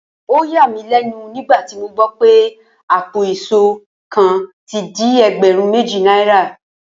Ó yà mí lé̩nu nígbà tí mo gbó̩ wipé àpò ìs̩ó kan ti di e̩gbè̩rún méjì náírà